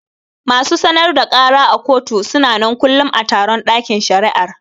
Masu sanar da kara a kotu suna nan kullum a taron ɗakin shari'ar